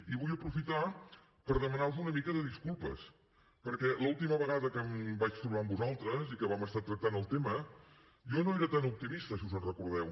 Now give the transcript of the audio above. i vull aprofitar per demanar vos una mica de disculpes perquè l’última vegada que em vaig trobar amb vosaltres i que vam estar tractant el tema jo no era tan optimista si us en recordeu